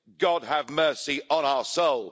God have mercy on soul.'